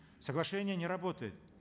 соглашение не работает